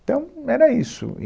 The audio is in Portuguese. Então, era isso.